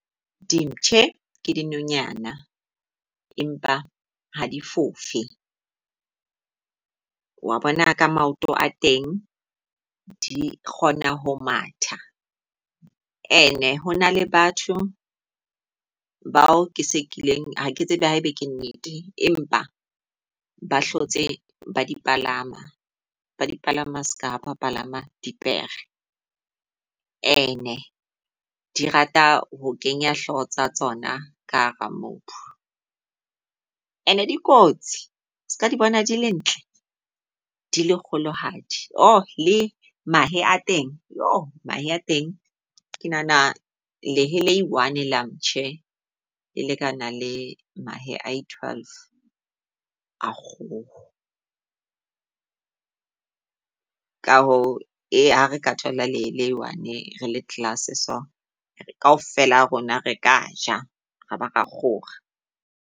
Di mpshe ke dinonyana, empa ha di fofe. Wa bona ka maoto a teng di kgona ho matha and-e ho na le batho bao ke se kileng ha ke tsebe haebe ke nnete, empa ba hlotse ba dipalama. Ba dipalama seka haba palama dipere. And-e di rata ho kenya hloho tsa tsona ka hara mobu. And-e di kotsi seka di bona di le ntle, di le kgolohadi . Ooh le mahe a teng mahe a teng ke nahana lehe le e -one la mpshe le lekana le mahe a i -twelve a kgoho. Ka hoo e ha re ka thola lehe le one re le class-e so kaofela ha rona re kaja, ra ba ra kgora.